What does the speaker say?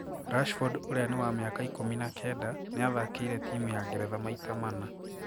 Rashford uria ni wa miaka ikumi na kenda niathakiire timu ya Geretha maita mana.